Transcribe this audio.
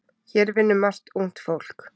Hér vinnur margt ungt fólk.